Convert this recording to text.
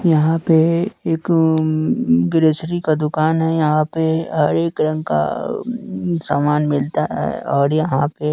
यहां पे एक ऊं ग्रोसरी का दुकान है यहां पे हर एक रंग का सामान मिलता है और यहां पे--